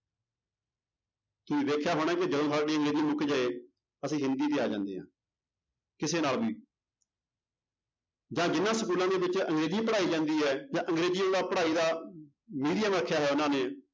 ਤੁਸੀਂ ਦੇਖਿਆ ਹੋਣਾ ਕਿ ਜਦੋਂ ਸਾਡੀ ਅੰਗਰੇਜੀ ਮੁੱਕ ਜਾਏ ਅਸੀਂ ਹਿੰਦੀ ਤੇ ਆ ਜਾਂਦੇ ਹਾਂ ਕਿਸੇ ਨਾਲ ਵੀ ਜਾਂ ਜਿੰਨਾਂ ਸਕੂਲਾਂ ਦੇ ਵਿੱਚ ਅੰਗਰੇਜੀ ਪੜ੍ਹਾਈ ਜਾਂਦੀ ਹੈ ਜਾਂ ਅੰਗਰੇਜ਼ੀ ਉਹਦਾ ਪੜ੍ਹਾਈ ਦਾ medium ਰੱਖਿਆ ਹੋਇਆ ਉਹਨਾਂ ਨੇ